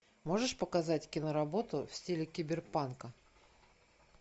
можешь показать киноработу в стиле киберпанка